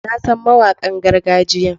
Na san mawakan gargajiya.